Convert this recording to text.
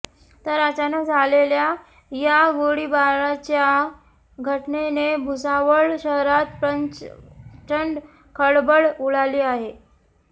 तर अचानक झालेल्या या गोळीबाराच्या घटनेने भुसावळ शहरात प्रचंड खळबळ उडाली आहे